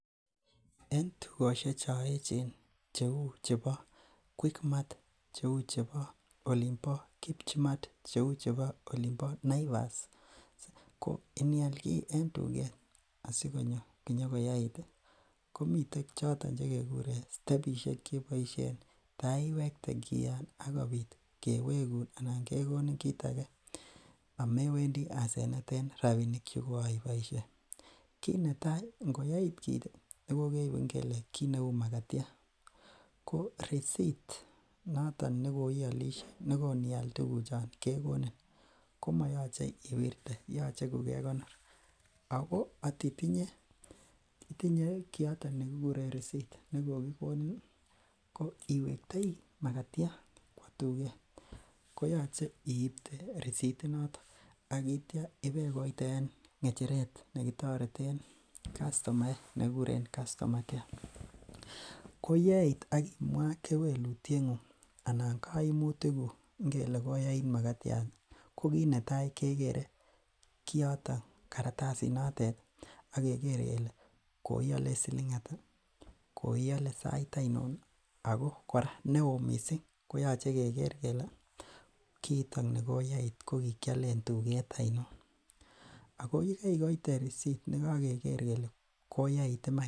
En tukoshe choon echen cheuu chebo Quick matt, cheu chebo olimbo Kipchimat, cheu chebo olimbo Naivas ko inial kii en tuket asikonyo konyo koyait komiten hton chekekuren stepishek cheboishen taiwekte kiyon ak kobiit kewekun anan kekonin kiit akee amewendi asenet en rabinik chekoaiboishen, kiit netai ing'oyait kiit nekokeib ingele makatiat ko risit noton nekon ial tukuchon kekonin komoyoche iwirte yoche kokekonor ak ko kotitinye kiyoton nekikuren risit nekokikonin ko iwektoi makatiat kwoo tuket koyoche iib risit inoton akitio ibekoite en ngecheret nekitoreten customaek nekikuren customer care, ko yeeit ak imwaa kewelutie ngung anan koimutikuk ngele koyait makatiat, ko kiit netai kekere kioton kartasinoton ak keker kelee koiolen siling'ata ko iolee sait ainon ak ko koraa neoo mising koyoche keker kelee kiiton nikoyait ko kikiolen tuket ainon ak yekoikoite risit nekokeker kelee koyait iman.